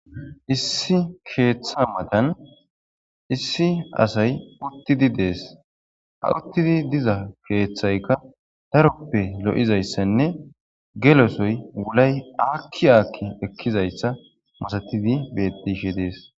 Issi keeththa matan issi asay uttidi dees. Ha uttidi diza keeththayka taroppe lo'izayssanne gelosoy wulay aakki aakki ekkizayssa masatidi bedishe dees.